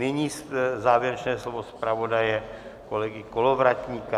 Nyní závěrečné slovo zpravodaje kolegy Kolovratníka.